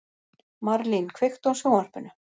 Marlín, kveiktu á sjónvarpinu.